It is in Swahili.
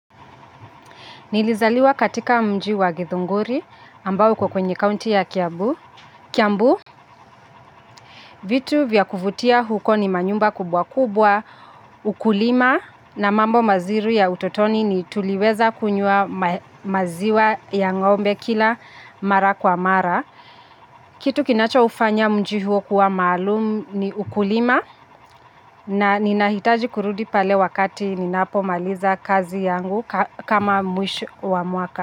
Nilizaliwa katika mji wa githunguri ambao iko kwenye kaunti ya kiambu. Kiambu vitu vya kuvutia huko ni manyumba kubwa kubwa, ukulima na mambo mazuri ya utotoni ni tuliweza kunywa maziwa ya ngombe kila mara kwa mara. Kitu kinacha ufanya mji huo kuwa maalum ni ukulima na ninahitaji kurudi pale wakati ninapo maliza kazi yangu kama mwisho wa mwaka.